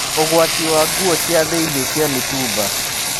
Ũgwati wa nguo cia thĩinĩ cia mĩtumba.